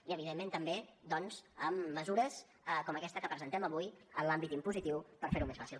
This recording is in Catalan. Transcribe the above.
i evidentment també doncs amb mesures com aquesta que presentem avui en l’àmbit impositiu per fer ho més fàcil